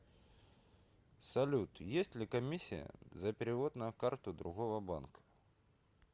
салют есть ли комиссия за перевод на карту другого банка